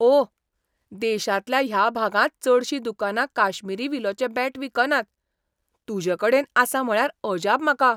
ओह! देशांतल्या ह्या भागांत चडशीं दुकानां काश्मीरी विलोचें बॅट विकनात. तुजेकडेन आसा म्हळ्यार अजाप म्हाका!